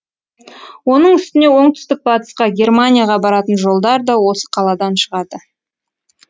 оның үстіне оңтүстік батысқа германияға баратын жолдар да осы қаладан шығады